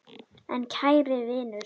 En kæri vinur.